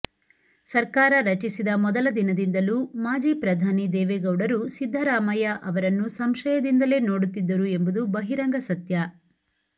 ಸರ್ಕಾರ ರಚಿಸಿದ ಮೊದಲ ದಿನದಿಂದಲೂ ಮಾಜಿ ಪ್ರಧಾನಿ ದೇವೇಗೌಡರು ಸಿದ್ದರಾಮಯ್ಯ ಅವರನ್ನು ಸಂಶಯದಿಂದಲೇ ನೋಡುತ್ತಿದ್ದರು ಎಂಬುದು ಬಹಿರಂಗ ಸತ್ಯ